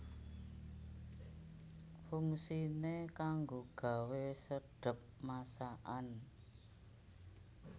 Fungsiné kanggo gawé sedhep masakan